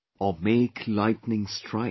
Or make lightening strike